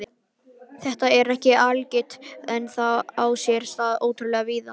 Þetta er ekki algilt en á sér stað ótrúlega víða.